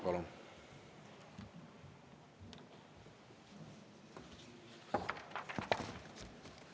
Palun!